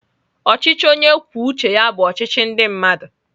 Ọchịchị onye kwuo uche ya bụ ọchịchị ndị mmadụ.